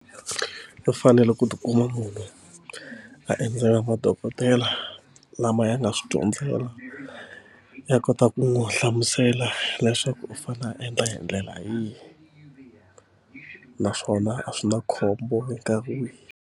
Ku fanele ku tikuma munhu a endzela madokodela lama ya nga swi dyondzela ya kota ku n'wi hlamusela leswaku u fanele a endla hi ndlela yihi naswona a swi na khombo minkarhi wihi.